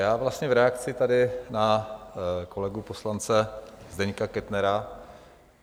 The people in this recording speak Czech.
Já vlastně v reakci tady na kolegu poslance Zdeňka Kettnera.